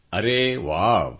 ಅರೆ ವಾವ್